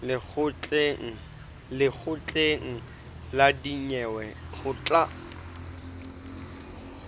lekgotleng la dinyewe ho tla